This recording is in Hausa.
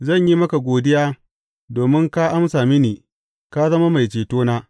Zan yi maka godiya, domin ka amsa mini; ka zama mai cetona.